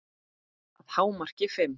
Að hámarki fimm.